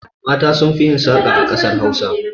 Mata sun fi yin saƙa a ƙasar Hausa.